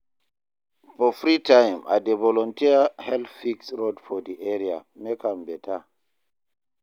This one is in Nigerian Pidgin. For free time, I dey volunteer help fix road for di area, make am better.